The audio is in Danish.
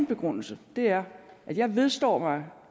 begrundelse er at jeg vedstår mig